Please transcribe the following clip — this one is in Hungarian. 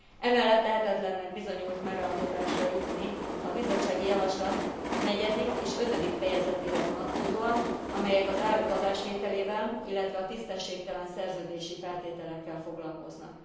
Emellett lehetetlennek bizonyult megállapodásra jutni a bizottsági javaslat negyedik és ötödik fejezetére vonatkozóan, amelyek az áruk adásvételével, illetve a tisztességtelen szerződési feltételekkel foglalkoznak.